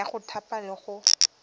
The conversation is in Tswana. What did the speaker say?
ya go thapa le go